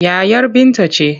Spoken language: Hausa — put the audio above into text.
Yayar Binta ce.